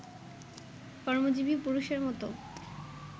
কর্মজীবী পুরুষের মতো